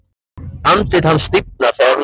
Andlit hans stífnar þegar hún segir þetta.